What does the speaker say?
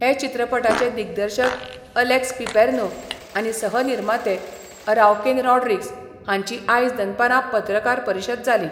हे चित्रपटाचे दिग्दर्शक अलेक्स पिपेर्नो आनी सहनिर्माते अराव्केन रॉड्रिग्ज हांची आयज दनपारा पत्रकार परिशद जाली.